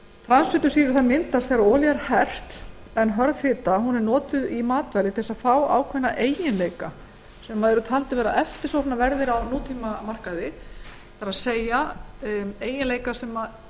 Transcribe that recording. samsett transfitusýrur myndast þegar olía er hert en hörð fita er notuð í matvæli til að fá ákveðna eiginleika sem taldir eru eftirsóknarverðir á nútímamarkaði það er eiginleikar sem